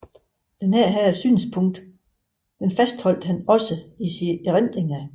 Dette synspunkt fastholdt han også i sine erindringer